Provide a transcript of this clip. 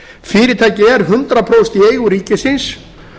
fyrirtækið er hundrað prósent í eigu ríkisins